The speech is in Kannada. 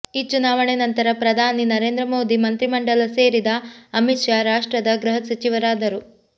ಈ ಚುನಾವಣೆ ನಂತರ ಪ್ರಧಾನಿ ನರೇಂದ್ರ ಮೋದಿ ಮಂತ್ರಿ ಮಂಡಲ ಸೇರಿದ ಅಮಿತ್ ಶಾ ರಾಷ್ಟ್ರದ ಗೃಹ ಸಚಿವರಾದರು